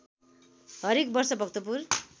हरेक वर्ष भक्तपुर